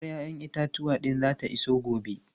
Motar 'ya'yan itatuwan din zata iso gobe.